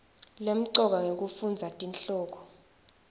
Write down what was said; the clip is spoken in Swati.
lemcoka ngekufundza tihloko